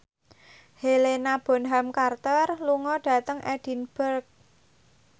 Helena Bonham Carter lunga dhateng Edinburgh